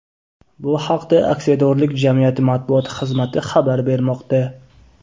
Bu haqda aksiyadorlik jamiyati matbuot xizmati xabar bermoqda .